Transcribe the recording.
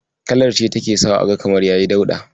Kalar ce take sawa aga kamar yayi dauɗa.